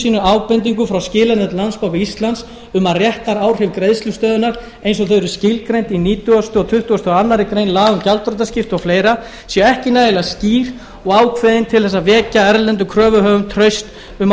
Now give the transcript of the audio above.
sínum ábendingu frá skilanefnd landsbanka íslands um að réttaráhrif greiðslustöðvunar eins og þau eru skilgreind í nítjándu og tuttugasta og aðra grein laganna um gjaldþrotaskipti og fleira séu ekki nægilega skýr og ákveðin til þess að vekja erlendum kröfuhöfum traust um að